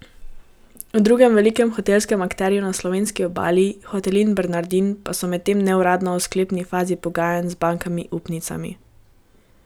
V drugem velikem hotelskem akterju na slovenski obali, Hotelih Bernardin, pa so medtem neuradno v sklepni fazi pogajanj z bankami upnicami.